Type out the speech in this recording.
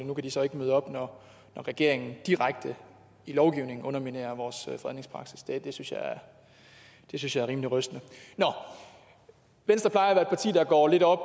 nu kan de så ikke møde op når regeringen direkte i lovgivningen underminerer vores fredningspraksis det synes jeg er rimelig rystende venstre plejer at parti der går lidt op